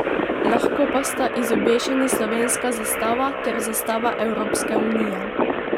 Lahko pa sta izobešeni slovenska zastava ter zastava Evropske unije.